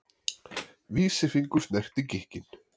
Vísifingur snerti gikkinn.